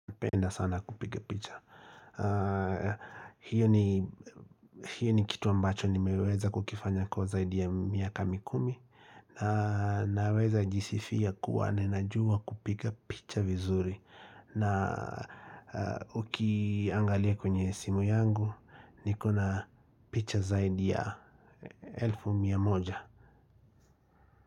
Napenda sana kupiga picha Hii ni kitu ambacho nimeweza kukifanya kwa zaidi ya miaka mikumi na naweza jisifia kuwa ninajua kupiga picha vizuri na ukiangalia kwenye simu yangu nikona picha zaidi ya elfu mia moja.